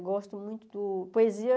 Eu gosto muito do... Poesia...